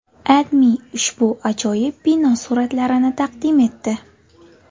AdMe ushbu ajoyib bino suratlarini taqdim etdi .